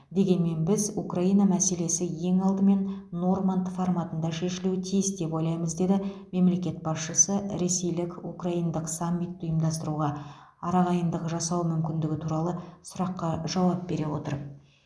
дегенмен біз украина мәселесі ең алдымен норманд форматында шешілуі тиіс деп ойлаймыз деді мемлекет басшысы ресейлік украиндық саммитті ұйымдастыруға арағайындық жасау мүмкіндігі туралы сұраққа жауап бере отырып